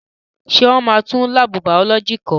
Ṣé wọ́n máa tún láàbù bàọ́lọ́jì kọ́?